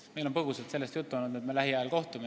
Meil on põgusalt juttu olnud, et me lähiajal kohtume.